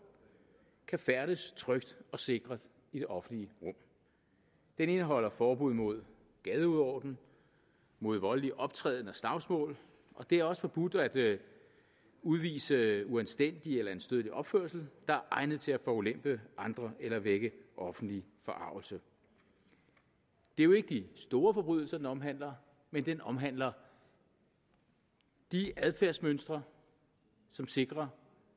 kan færdes trygt og sikkert i det offentlige rum den indeholder forbud mod gadeuorden mod voldelig optræden og slagsmål og det er også forbudt at udvise uanstændig eller anstødelig opførsel der er egnet til at forulempe andre eller vække offentlig forargelse det er jo ikke de store forbrydelser den omhandler men den omhandler de adfærdsmønstre som sikrer